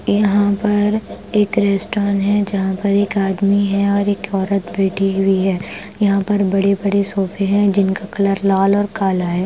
यहां पर एक रेस्टोरेंट है जहां पर एक आदमी है और एक औरत बैठी हुई है यहां पर बड़े-बड़े सोफे हैं जिनका कलर लाल और काला है ।